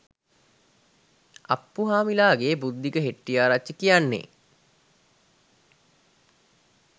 අප්පුහාමිලාගේ බුද්ධික හෙට්ටිආරච්චි කියන්නෙ